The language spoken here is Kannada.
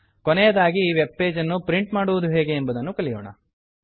ಕೊನೆಯದಾಗಿ ಈ ವೆಬ್ ಪೇಜನ್ನು ಪ್ರಿಂಟ್ ಮಾಡುವುದು ಹೇಗೆ ಎಂಬುದನ್ನು ಕಲಿಯೋಣ